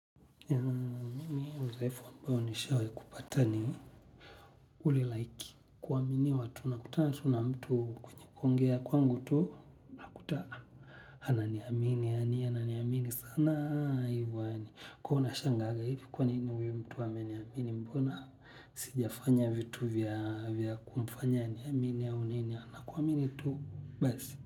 Mimi udhaifu ambao nishai kupata ni ulilaiki kuaminiwa, tunakutana tu na mtu kwenye kuongea kwangu tu hakutaka. Ananiamini yaani sana hivo yaani huwa nashanganga hivi kwa nini huyu mtu ameniamini mbona sijafanya vitu vya kumfanya aniamini au nini anakuamini tu basi.